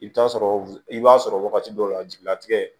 I bɛ t'a sɔrɔ i b'a sɔrɔ wagati dɔw la jigilatigɛ